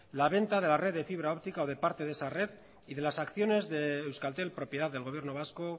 la venta de la red de fibra óptica o de parte de esa red y de las acciones de euskaltel propiedad del gobierno vasco